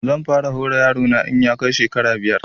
Zan fara hora yaro na in ya kai shekara biyar